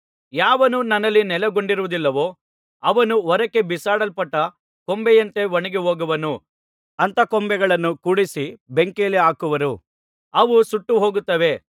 ಯಾವನು ನನ್ನಲ್ಲಿ ನೆಲೆಗೊಂಡಿರುವುದಿಲ್ಲವೋ ಅವನು ಹೊರಕ್ಕೆ ಬಿಸಾಡಲ್ಪಟ್ಟ ಕೊಂಬೆಯಂತೆ ಒಣಗಿಹೋಗುವನು ಅಂಥ ಕೊಂಬೆಗಳನ್ನು ಕೂಡಿಸಿ ಬೆಂಕಿಯಲ್ಲಿ ಹಾಕುವರು ಅವು ಸುಟ್ಟು ಹೋಗುತ್ತವೆ